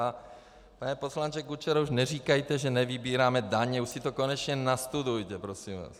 A pane poslanče Kučero, už neříkejte, že nevybíráme daně, už si to konečně nastudujte, prosím vás.